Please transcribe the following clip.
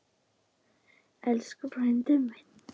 Elsku frændi minn.